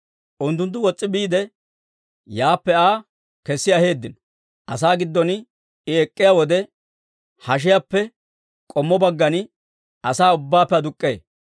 Unttunttu wos's'i biide, yaappe Aa kessi aheeddino. Asaa giddon I ek'k'iyaa wode, hashiyaappe k'ommo baggan asaa ubbaappe aduk'k'ee.